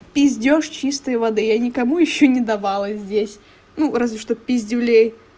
пиздёж чистой воды я никому ещё не давала здесь ну разве что пиздюлей